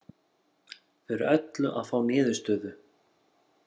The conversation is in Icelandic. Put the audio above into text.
Fyrir öllu að fá niðurstöðu